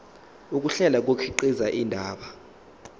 ukuhlela kukhiqiza indaba